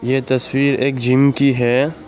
ये तस्वीर एक जिम की है।